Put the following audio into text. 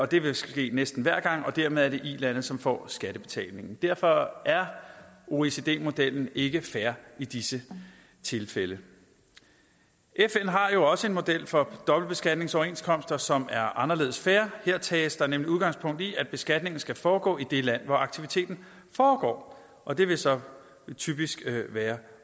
det vil ske næsten hver gang og dermed er det ilandet som får skattebetalingen derfor er oecd modellen ikke fair i disse tilfælde fn har jo også en model for dobbeltbeskatningsoverenskomster som er anderledes fair her tages der nemlig udgangspunkt i at beskatningen skal foregå i det land hvor aktiviteten foregår og det vil så typisk være